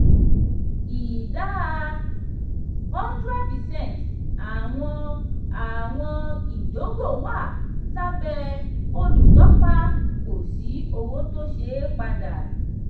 ìdá one hundred percent àwọn àwọn ìdógò wà lábẹ́ olùtọ́pa kò sí owó tó ṣeé padà.